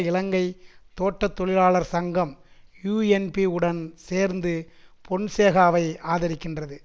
இலங்கை தோட்ட தொழிலாளர் சங்கம் யூஎன்பி உடன் சேர்ந்து பொன்சேகாவை ஆதரிக்கின்றது